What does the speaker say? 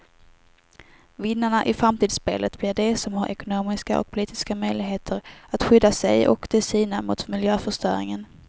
Vinnarna i framtidsspelet blir de som har ekonomiska och politiska möjligheter att skydda sig och de sina mot miljöförstöringen.